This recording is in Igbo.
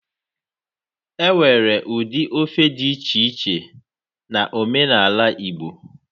Enwere ụdị ofe dị iche iche na omenaala igbo